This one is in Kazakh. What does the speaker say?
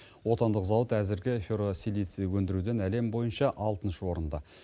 отандық зауыт әзірге ферросилиций өндіруден әлем бойынша алтыншы орында